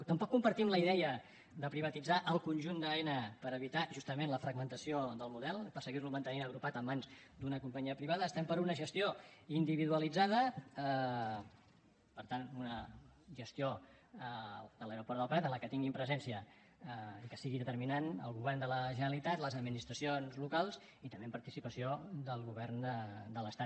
tampoc compartim la idea de privatitzar el conjunt d’aena per evitar justament la fragmentació del model per seguir lo mantenint agrupat en mans d’una companyia privada estem per una gestió individualitzada per tant una gestió de l’aeroport del prat en què tinguin presència i que sigui determinant el govern de la generalitat les administracions locals i també amb participació del govern de l’estat